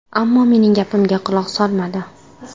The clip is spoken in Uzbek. Ammo mening gapimga quloq solmadi.